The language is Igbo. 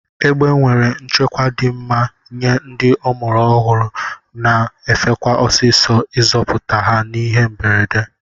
Egbe nwere nchekwa di mma nye ndi ọmụrụ ọhuru na efekwa ọsisọ izọpụta ha n'ihe mberede.